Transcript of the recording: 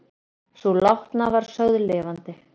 Sú látna var sögð lifandi